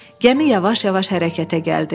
Gəmi yavaş-yavaş hərəkətə gəldi.